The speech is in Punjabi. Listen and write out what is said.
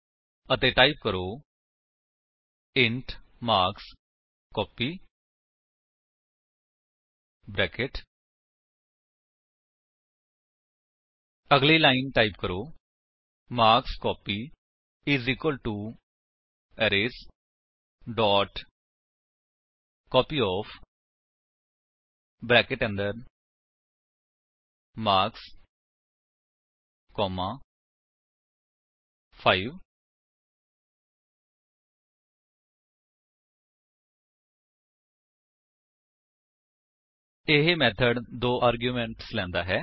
ਅਤੇ ਟਾਈਪ ਕਰੋ ਇੰਟ ਮਾਰਕਸਕੋਪੀ 160 ਅਗਲੀ ਲਾਇਨ ਟਾਈਪ ਕਰੋ ਮਾਰਕਸਕੋਪੀ ਅਰੇਜ਼ ਕਾਪਯੋਫ ਮਾਰਕਸ 5 160 ਇਹ ਮੇਥਡ ਦੋ ਆਰਗੁਮੇਂਟਸ ਲੈਂਦਾ ਹੈ